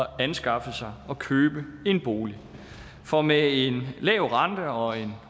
at anskaffe sig og købe en bolig for med en lav rente og en